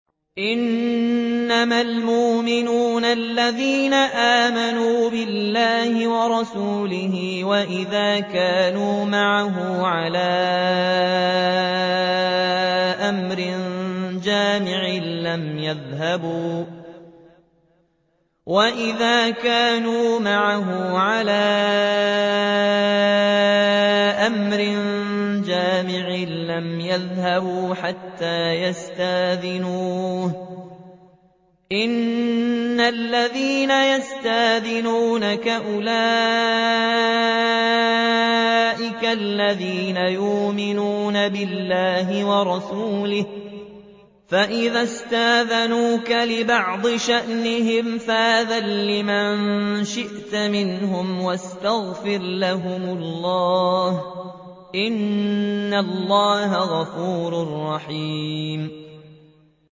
إِنَّمَا الْمُؤْمِنُونَ الَّذِينَ آمَنُوا بِاللَّهِ وَرَسُولِهِ وَإِذَا كَانُوا مَعَهُ عَلَىٰ أَمْرٍ جَامِعٍ لَّمْ يَذْهَبُوا حَتَّىٰ يَسْتَأْذِنُوهُ ۚ إِنَّ الَّذِينَ يَسْتَأْذِنُونَكَ أُولَٰئِكَ الَّذِينَ يُؤْمِنُونَ بِاللَّهِ وَرَسُولِهِ ۚ فَإِذَا اسْتَأْذَنُوكَ لِبَعْضِ شَأْنِهِمْ فَأْذَن لِّمَن شِئْتَ مِنْهُمْ وَاسْتَغْفِرْ لَهُمُ اللَّهَ ۚ إِنَّ اللَّهَ غَفُورٌ رَّحِيمٌ